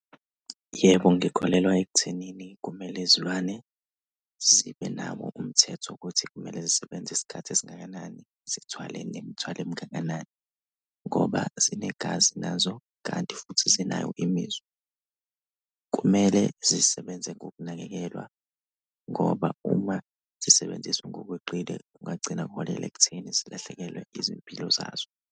Yebo, ngikholelwa ekuthenini kumele izilwane zibe nawo umthetho ukuthi kumele zisebenze isikhathi esingakanani. Zithwale nemithwalo emingakanani ngoba zinegazi nazo kanti futhi zinayo imizwa. Kumele zisebenze ngokunakekelwa ngoba uma zisebenziswa ngokweqile kungagcina kuholela ekutheni zilahlekelwe izimpilo zazo.